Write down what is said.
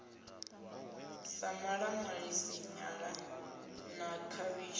sa maṱamaṱisi nyala na khavhishi